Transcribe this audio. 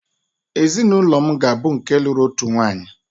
ezinụlọ m ga-abụ nke lụrụ otu nwanyị